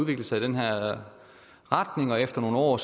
det sig i den her retning og efter nogle år